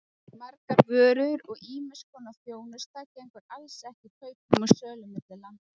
Margar vörur og ýmiss konar þjónusta gengur alls ekki kaupum og sölu milli landa.